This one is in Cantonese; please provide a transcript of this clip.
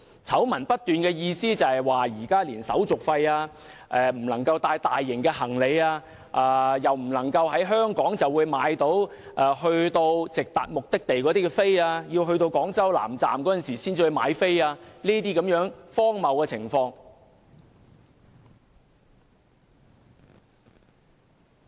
醜聞不斷是指購買車票要加收手續費，乘車不能攜帶大型行李，不能在香港購買非直達城市以外的目的地的車票，要抵達廣州南站才能買票等荒謬情況。